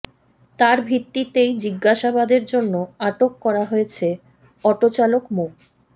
তার ভিত্তিতেই জিজ্ঞাসাবাদের জন্য আটক করা হয়েছে অটোচালক মো